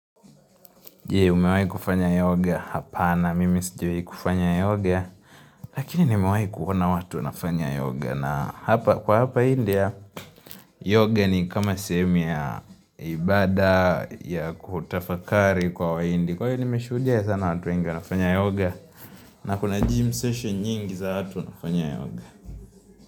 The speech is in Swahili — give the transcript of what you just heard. Umewahi kufanya yoga? Hapana mimi sijawahi kufanya yoga Lakini nimewahi kuona watu wanafanya yoga na hapa, kwa hapa India yoga ni kama sehemu ya ibada ya kutafakari kwa Wahindi. Kwa hiyo nimeshuhudia sana watu wengi wanafanya yoga. Na kuna gym session nyingi za watu wanafanya yoga.